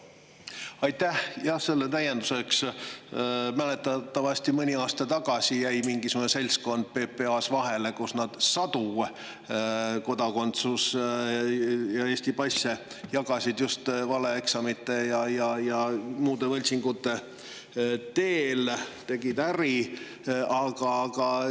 täienduseks mäletatavasti jäi mõni aasta tagasi mingisugune seltskond PPA-s vahele, kui nad jagasid laiali sadu Eesti passe ja kodakondsusi just valeeksamite ja muude võltsingute teel, ehk siis tegid äri.